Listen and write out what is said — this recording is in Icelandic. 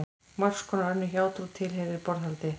Margs konar önnur hjátrú tilheyrir borðhaldi.